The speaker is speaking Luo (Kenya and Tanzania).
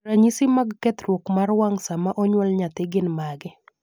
ranyisi mag kethruok mar wang' sama onyuol nyathi gin mage?